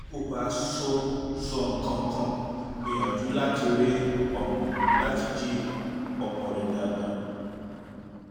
bí kò bá sọ sọ nǹkan kan gbìyànjú láti jí ọmọ rẹ dáadáa